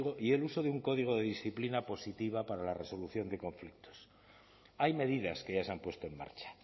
y el uso de un código de disciplina positiva para la resolución de conflictos hay medidas que ya se han puesto en marcha